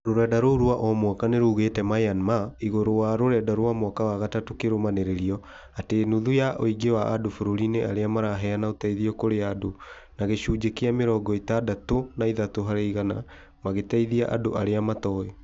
Rũrenda rũu rwa omwaka nĩruigĩte Myanmar , igũrũ wa rũrenda rwa mwaka wa gatatũ kĩrũmanĩrĩrio , arĩ nuthu ya ũingĩ wa andũ bũrũri-inĩ arĩa maraheana ũteithio kũrĩa andũ na gĩcunjĩ kĩa mĩrongo ĩtandatũ na ithatũ harĩ igana magĩteithia andũ arĩa matoĩ